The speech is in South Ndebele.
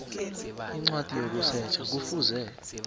incwadi yokusetjha kufuze